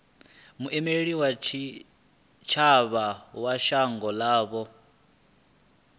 muimeli wa tshitshavha wa shango ḽavho